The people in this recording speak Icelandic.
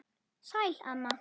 Sæl, amma.